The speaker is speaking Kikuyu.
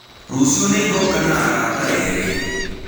Rũcĩũ nĩngoka na arata erĩ.